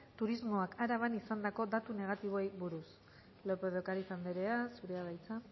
turismoak araban izandako datu negatiboei buruz lópez de ocariz andrea zurea da hitza